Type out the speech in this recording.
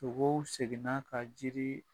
seginna ka jiri